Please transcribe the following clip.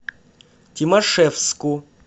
тимашевску